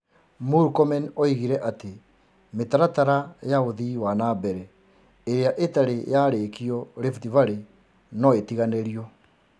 Murkomen oigire atĩ mĩtaratara ya ũthii wa na mbere ĩrĩa ĩtarĩ yarĩkio Rift Valley no ĩtiganĩrio.